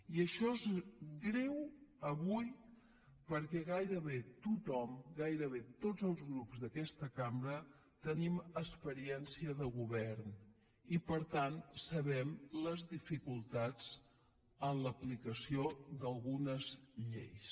i això és greu avui perquè gairebé tothom gairebé tots els grups d’aquesta cambra tenim experiència de govern i per tant sabem les dificultats en l’aplicació d’algunes lleis